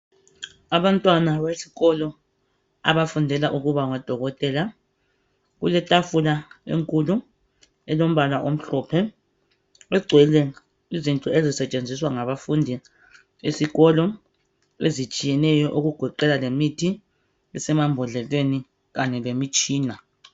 Abantwana besikolo abafundela ukuba ngodokotela , kulethafula enkulu elombala omhlophe. Egcwele izinto ezisetshenziswa ngabafundi esikolo ezitshiyeneyo okugoqela lemithi esemambodleleni kanye lemitshina.